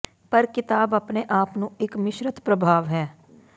ਪਰ ਕਿਤਾਬ ਆਪਣੇ ਆਪ ਨੂੰ ਇੱਕ ਮਿਸ਼ਰਤ ਪ੍ਰਭਾਵ ਹੈ